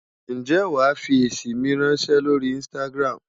Ǹjẹ́ wàá fi èsì mi ráńṣẹ́ lórí Instagram?